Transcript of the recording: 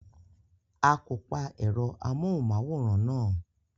A kò pa ẹ̀rọ amóhùmáwòra náà.